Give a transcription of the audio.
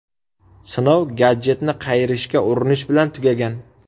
Sinov gadjetni qayirishga urinish bilan tugagan.